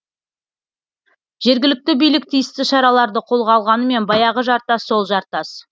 жергілікті билік тиісті шараларды қолға алғанымен баяғы жартас сол жартас